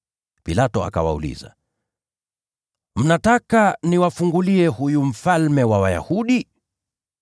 Pilato akawauliza, “Mnataka niwafungulie huyu Mfalme wa Wayahudi?”